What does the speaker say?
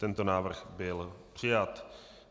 Tento návrh byl přijat.